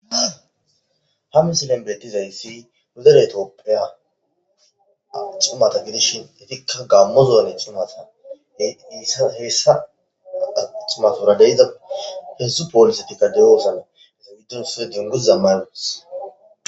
Ha missilen betizayisi nu dere tophia cimata gidishin etika gamo zone cimata hesa cimatura heedzdzu polisetika deosona eta gidon issoy dunguza maiutis.